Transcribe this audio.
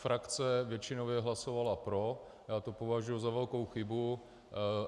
Frakce většinově hlasovala pro, já to považuji za velkou chybu.